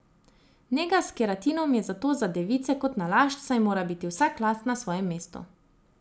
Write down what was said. Nega s keratinom je zato za device kot nalašč, saj mora biti vsak las na svojem mestu.